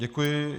Děkuji.